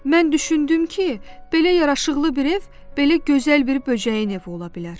Mən düşündüm ki, belə yaraşıqlı bir ev belə gözəl bir böcəyin evi ola bilər.